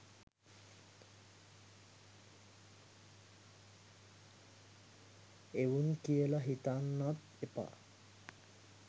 එවුන් කියල හිතන්නත් එපා.